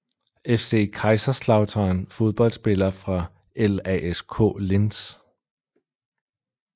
FC Kaiserslautern Fodboldspillere fra LASK Linz